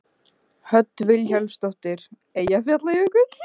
Hödd Vilhjálmsdóttir: Eyjafjallajökull?